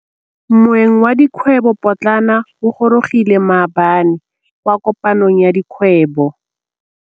Moêng wa dikgwêbô pôtlana o gorogile maabane kwa kopanong ya dikgwêbô.